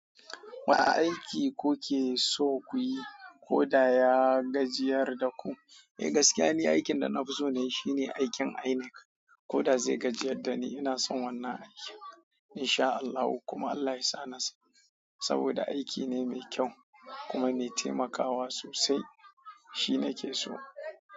Wane aiki kuke so kuyi ko da ya gajiyar da ku? Eh gaskiya ne, aikin da na fi so ne shine aikin INEC ko da zai gajiyar da ni. Ina son wannan aiki in sha Allahu kuma Allah yasa na samu saboda aiki ne mai kyau kuma me taimakawa sosai. Shi nake so.